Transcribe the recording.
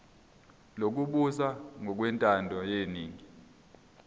lokubusa ngokwentando yeningi